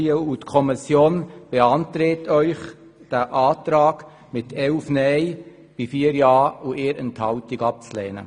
Die Kommission beantragt Ihnen mit 11 Nein-Stimmen bei 4 Ja-Stimmen und 1 Enthaltung, diesen Antrag abzulehnen.